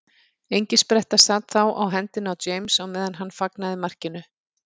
Engispretta sat þá á hendinni á James á meðan hann fagnaði markinu.